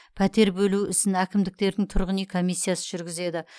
пәтер бөлу ісін әкімдіктердің тұрғын үй комиссиясы жүргізеді